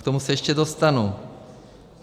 K tomu se ještě dostanu.